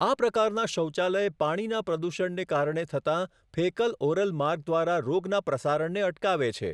આ પ્રકારના શૌચાલય પાણીના પ્રદૂષણને કારણે થતાં ફેકલ ઓરલ માર્ગ દ્વારા રોગનાં પ્રસારણને અટકાવે છે.